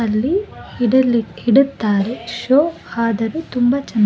ಅಲ್ಲಿ ಇಡಲಿಕ್ಕೆ ಇಡುತ್ತಾರೆ ಶೋ ಆದರೂ ತುಂಬಾ ಚನ್ನಾಗಿ --